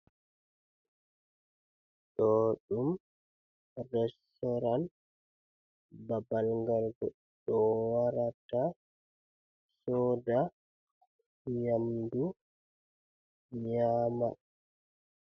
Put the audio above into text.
Ɗo ɗum resyoran, babal ngal goɗɗoo warata soda nyamdu nyama.